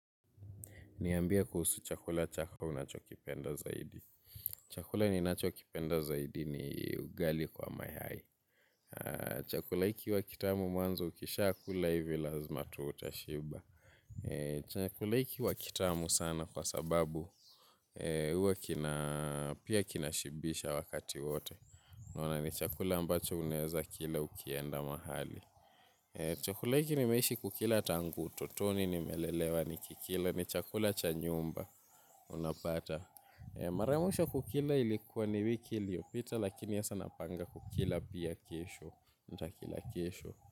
Niambie kuhusu chakula chako unachokipenda zaidi. Chakula ninachokipenda zaidi ni ugali kwa mayai. Chakula iki uwa kitamu mwanzo ukishakula ivi lazima tu utashiba. Chakula iki wa kitamu sana kwa sababu uwa kina pia kinashibisha wakati wote. Naona ni chakula ambacho unaeza kila ukienda mahali. Chakula iki nimeishi kukila tangu utotoni nimelelewa nikikila ni chakula cha nyumba. Unapata, mara ya mwisho kukila ilikua ni wiki iliopita lakini asaa napanga kukila pia kesho, nitakila kesho.